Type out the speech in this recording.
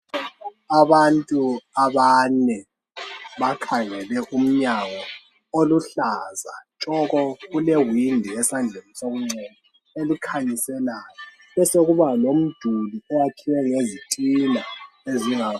Abantu abane bakhangele umnyango oluhlaza tshoko kule windi esandleni sokunxele elikhanyiselayo besekuba lomduli owakhiwe ngezthina ezinga.